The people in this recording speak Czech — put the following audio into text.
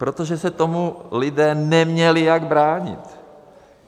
Protože se tomu lidé neměli jak bránit.